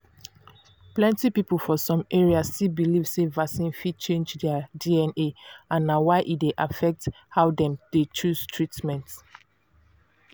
plenty people for some areas still belive sey vaccine fit change their dna and na why e dey affect how dem chose treatments.